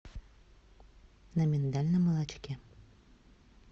на миндальном молочке